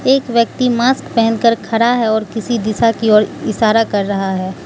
एक व्यक्ति मास्क पहनकर खड़ा है और किसी दिशा की ओर इशारा कर रहा है।